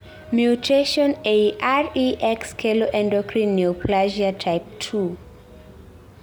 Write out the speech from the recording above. mutation eei REX kelo endocrine neoplasia type 2